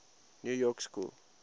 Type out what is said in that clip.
new york school